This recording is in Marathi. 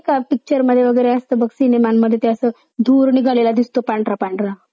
pictureमध्ये वगैरे असतं मग सिनेमांमध्ये ते असं धूर निघालेला दिसतो पांढरा पांढरा.